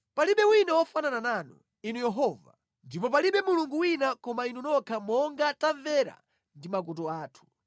“Palibe wina wofanana nanu, Inu Yehova, ndipo palibe Mulungu wina koma Inu nokha monga tamvera ndi makutu athu.